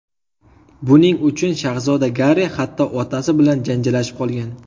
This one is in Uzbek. Buning uchun shahzoda Garri hatto otasi bilan janjallashib qolgan.